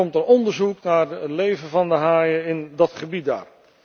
Er komt een onderzoek naar het leven van de haaien in dat gebied daar.